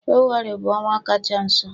Febụwarị bụ ọnwa kacha nso.